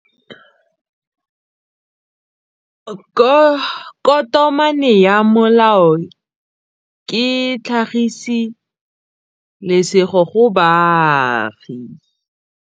Tokomane ya molao ke tlhagisi lesedi go baagi.